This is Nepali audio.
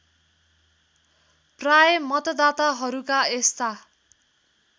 प्राय मतदाताहरूका यस्ता